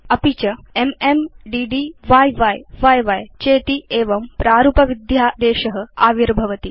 अपि च MM DD य्य्य चेत्येवं प्रारूपविध्यादेश आविर्भवति